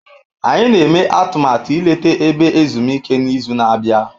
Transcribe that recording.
Anyị na-eme atụmatụ ileta ebe ezumike n'izu na-abịa.